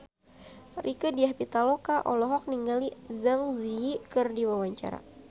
Rieke Diah Pitaloka olohok ningali Zang Zi Yi keur diwawancara